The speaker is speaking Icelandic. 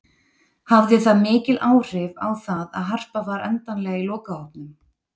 Hafði það mikil áhrif á það að Harpa var endanlega í lokahópnum?